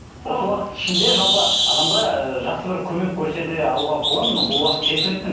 осы уақыт ішінде жалпы адамға ы жақсы бір көмек көрсете алуға болады ма бұл уақыт жеткілікті ме